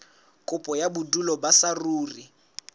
kopo ya bodulo ba saruri